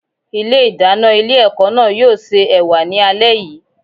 Ilé ìdáná ilé ẹ̀kọ́ náà yóò se Ẹ̀wà ni alẹ́ yìí.